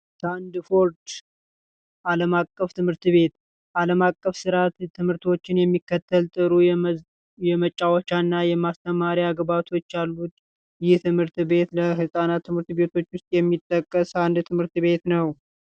ላንድቦርች አለም አቀፍ ትምህርት ቤት ዓለም አቀፍ ስርአተ ትምህርቶችን የሚከተሉ የመጫወቻ እና የማስተማሪያ ግብዓቶች አሉት። ይህ ከህጻናት ትምህርት ቤቶች ውስጥ የሚጠቀስ ትምህርት ቤት ነው።